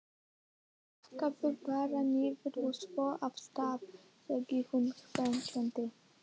Pakkaðu bara niður, og svo af stað! sagði hún hvetjandi.